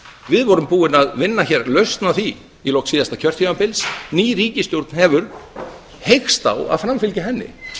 við vorum búin að vinna hér lausn á því í lok síðasta kjörtímabils ný ríkisstjórn hefur heykst á að framfylgja henni